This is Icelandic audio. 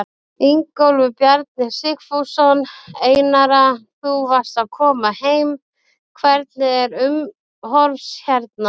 Ingólfur Bjarni Sigfússon: Einara þú varst að koma heim, hvernig er umhorfs hérna?